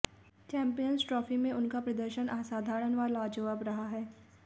champions trophy में उनका प्रदर्शन असाधारण व लाजवाब रहा है